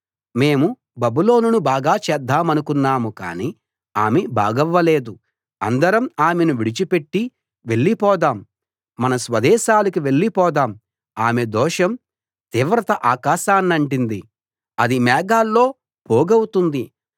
మేము బబులోనును బాగు చేద్దామనుకున్నాం కానీ ఆమె బాగవ్వలేదు అందరం ఆమెను విడిచిపెట్టి వెళ్లి పోదాం మన స్వదేశాలకు వెళ్ళి పోదాం ఆమె దోషం తీవ్రత ఆకాశాన్నంటింది అది మేఘాల్లో పోగవుతుంది